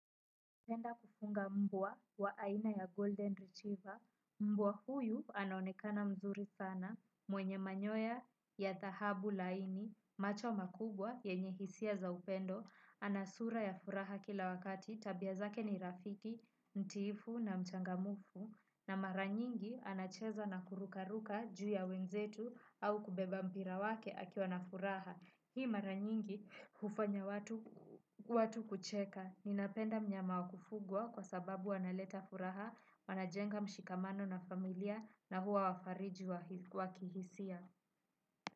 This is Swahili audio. Ningependa kufunga mbwa wa aina ya golden retriever, mbwa huyu anaonekana mzuri sana, mwenye manyoya ya thahabu laini, macho makubwa yenye hisia za upendo, ana sura ya furaha kila wakati, tabia zake ni rafiki, mtiifu na mchangamufu, na mara nyingi anacheza na kurukaruka juu ya wenzetu au kubeba mpira wake akiwa na furaha. Hii maranyingi hufanya watu kucheka. Ninapenda mnyama wakufugwa kwa sababu wanaleta furaha, wanajenga mshikamano na familia na huwa wafariji wa kihisia.